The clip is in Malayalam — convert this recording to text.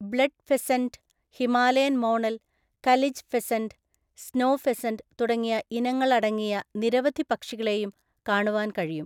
Blood pheasant, Himalayan monal, ​​kalij pheasant, snow pheasant തുടങ്ങിയ ഇനങ്ങളടങ്ങിയ നിരവധി പക്ഷികളെയും കാണുവാൻ കഴിയും.